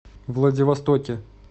владивостоке